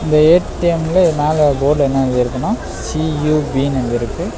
இந்த ஏ_டி_எம்ல இது மேல போர்டுல என்ன எழுதிருக்குன்னா சி_யு_பினு எழுதிருக்கு.